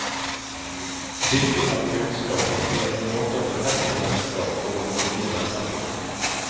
Bytting av kunnskap ble en måte å befeste vennskap og å få nye venner på.